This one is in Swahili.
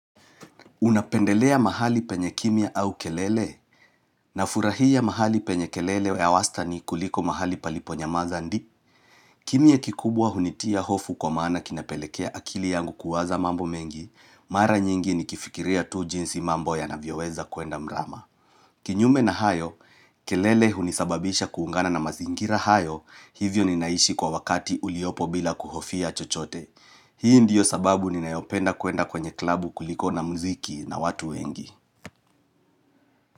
Unapendelea mahali penye kimya au kelele? Nafurahia mahali penye kelele ya wastani kuliko mahali paliponyamaza ndi. Kimya kikubwa hunitia hofu kwa maana kinapelekea akili yangu kuwaza mambo mengi, mara nyingi nikifikiria tu jinsi mambo yanavyoweza kuenda mrama. Kinyume na hayo, kelele hunisababisha kuungana na mazingira hayo hivyo ninaishi kwa wakati uliopo bila kuhofia chochote. Hii ndiyo sababu ninayopenda kuenda kwenye klabu kuliko na muziki na watu wengi.